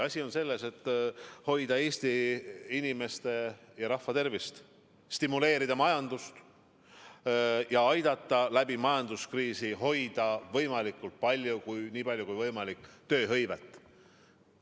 Asi on selles, et me tahame hoida Eesti inimeste, Eesti rahva tervist, stimuleerida majandust ja aidata majanduskriisi ajal hoida nii palju kui võimalik tööhõivet.